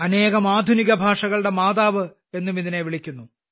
അനേകം ആധുനികഭാഷകളുടെ മാതാവ് എന്നും ഇതിനെ വിളിക്കുന്നു